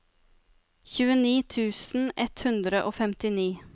tjueni tusen ett hundre og femtini